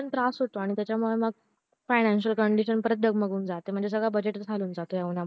त्रास होतो त्याच्या मुळे मग financial condition परत डगमगून जाते म्हणजे सगळा budget ह्या ऊना मुळे